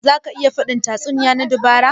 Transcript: Za ka iya faɗin tatsuniya na dabara?